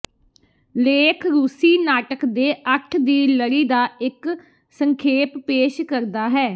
ਲੇਖ ਰੂਸੀ ਨਾਟਕ ਦੇ ਅੱਠ ਦੀ ਲੜੀ ਦਾ ਇੱਕ ਸੰਖੇਪ ਪੇਸ਼ ਕਰਦਾ ਹੈ